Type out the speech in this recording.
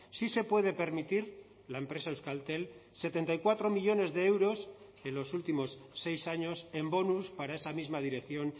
sí se puede permitir la empresa euskaltel setenta y cuatro millónes de euros en los últimos seis años en bonus para esa misma dirección